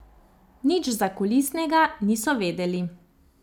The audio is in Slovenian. Nič zakulisnega niso vedeli.